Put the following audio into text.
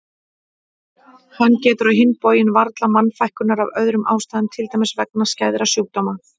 Hann getur á hinn bóginn varla mannfækkunar af öðrum ástæðum til dæmis vegna skæðra sjúkdóma.